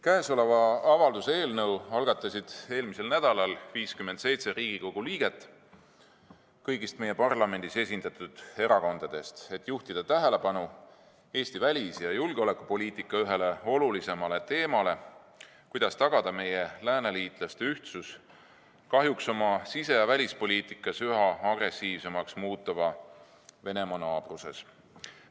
Käesoleva avalduse eelnõu algatasid eelmisel nädalal 57 Riigikogu liiget kõigist meie parlamendis esindatud erakondadest, et juhtida tähelepanu Eesti välis- ja julgeolekupoliitika ühele olulisimale teemale: kuidas tagada meie lääneliitlaste ühtsus oma sise- ja välispoliitikas üha agressiivsemaks muutuva Venemaa naabruses?